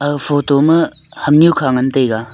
aga photo ma hamnu kha ngan tai ga.